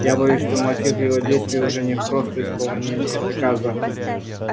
я боюсь что мотив его действий уже не просто исполнение приказа